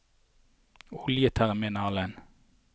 oljeterminalen